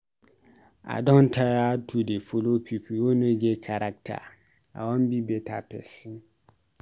I don tire to dey follow pipu wey no get character, I wan be beta pesin